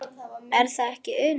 Er það ekki Una?